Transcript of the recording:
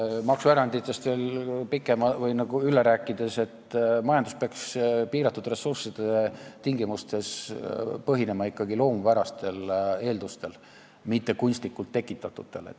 Maksueranditest veel pikemalt rääkides, majandus peaks piiratud ressursside tingimustes põhinema ikkagi loomupärastel eeldustel, mitte kunstlikult tekitatutel.